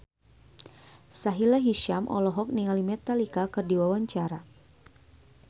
Sahila Hisyam olohok ningali Metallica keur diwawancara